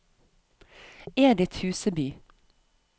Edith Huseby